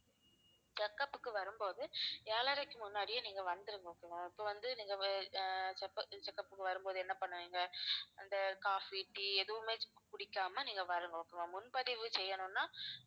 check up க்கு வரும்போது ஏழரைக்கு முன்னாடியே நீங்க வந்துருங்க okay வா இப்ப வந்து நீங்க வெ~ ஆஹ் check up~ check up க்கு வரும்போது என்ன பண்ணுவீங்க அந்த coffee, tea எதுவுமே குடிக்காம நீங்க வரணும் okay வா முன்பதிவு செய்யணும்னா